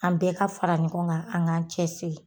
An bɛɛ ka fara ɲɔgɔn kan an k'an cɛ siri.